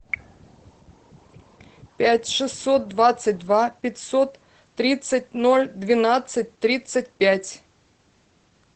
пять шестьсот двадцать два пятьсот тридцать ноль двенадцать тридцать пять